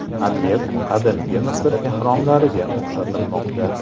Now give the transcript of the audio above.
Obyekt Qadimgi Misr ehromlariga o‘xshatilmoqda.